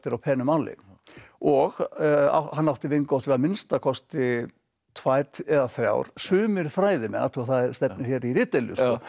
penu máli og hann átti vingott við að minnsta kosti tvær eða þrjár sumir fræðimenn athugaðu að það stefnir hér í ritdeilur